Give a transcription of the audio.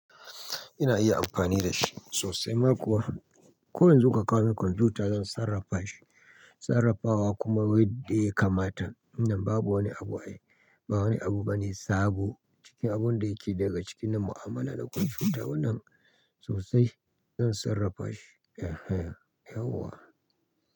Ina iya amfani da shi sosai ma kuwa. Ko yanzzu ka kawo min kwamfuta zan sarrafa shi. Sarrafawa kuma wadde ya kamata. Inda babu wani abu bane sabo. Cikin abun da yake daga cikin mu'amala da kwamfuta wannan sosai zan sarrafa shi. Ehe yauwa.